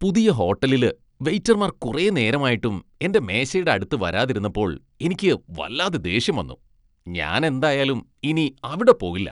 പുതിയ ഹോട്ടലില് വെയിറ്റർമാർ കുറെ നേരമായിട്ടും എന്റെ മേശയുടെ അടുത്ത് വരാതിരുന്നപ്പോൾ എനിക്ക് വല്ലാതെ ദേഷ്യം വന്നു . ഞാൻ എന്തായാലും ഇനി അവിടെ പോകില്ല.